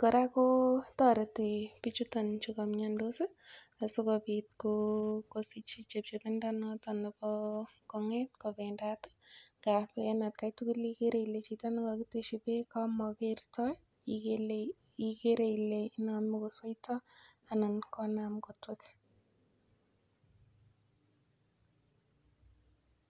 kora kotoreti bichuton chu kaimyondos asikobit kosich chepchepindo noton nebo kong'et kobendat ngapi en akei tugul ikere ile chito nekakiteshi beek kamakertoi ikere ile namei kosweitoi anan konaam kotwek